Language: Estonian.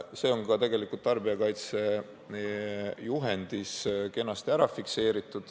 See on ka tegelikult tarbijakaitsejuhendis kenasti ära fikseeritud.